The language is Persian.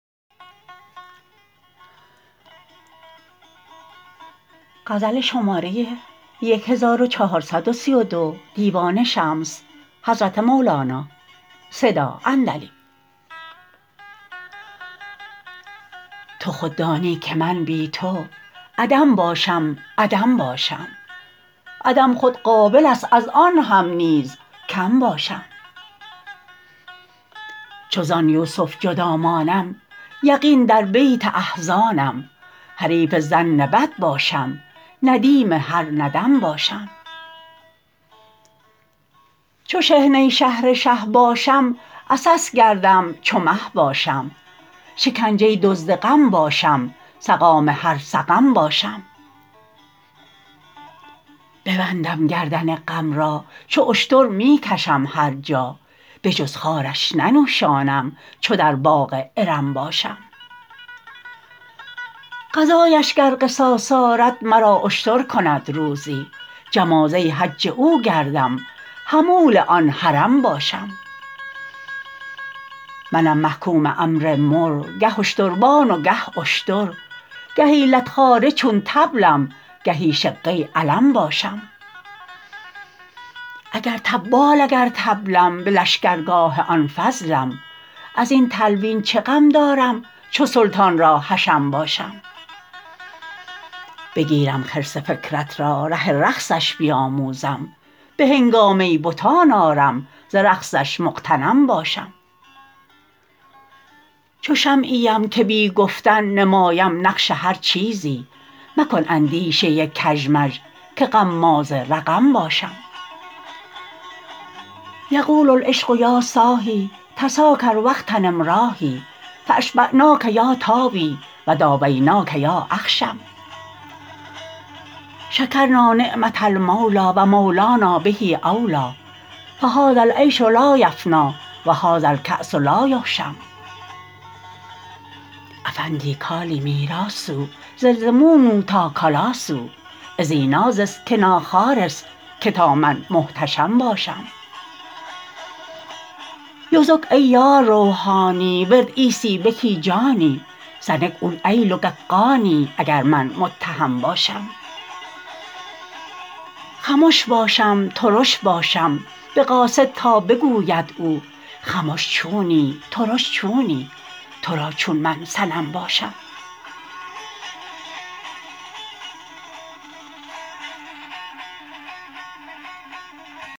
تو خود دانی که من بی تو عدم باشم عدم باشم عدم خود قابل هست است از آن هم نیز کم باشم چو زان یوسف جدا مانم یقین در بیت احزانم حریف ظن بد باشم ندیم هر ندم باشم چو شحنه شهر شه باشم عسس گردم چو مه باشم شکنجه دزد غم باشم سقام هر سقم باشم ببندم گردن غم را چو اشتر می کشم هر جا بجز خارش ننوشانم چو در باغ ارم باشم قضایش گر قصاص آرد مرا اشتر کند روزی جمازه حج او گردم حمول آن حرم باشم منم محکوم امر مر گه اشتربان و گه اشتر گهی لت خواره چون طبلم گهی شقه علم باشم اگر طبال اگر طبلم به لشکرگاه آن فضلم از این تلوین چه غم دارم چو سلطان را حشم باشم بگیرم خرس فکرت را ره رقصش بیاموزم به هنگامه بتان آرم ز رقصش مغتنم باشم چو شمعی ام که بی گفتن نمایم نقش هر چیزی مکن اندیشه کژمژ که غماز رقم باشم یقول العشق یا صاحی تساکر و اغتنم راحی فاشبعناک یا طاوی و داویناک یا اخشم شکرنا نعمه المولی و مولانا به اولی فهذا العیش لا یفنی و هذا الکاس لا یهشم افندی کالی میراسوذ لزمونو تا کالاسو اذی نازس کنا خارس که تا من محتشم باشم یزک ای یار روحانی ورر عیسی بکی جانی سنک اول ایلکل قانی اگر من متهم باشم خمش باشم ترش باشم به قاصد تا بگوید او خمش چونی ترش چونی تو را چون من صنم باشم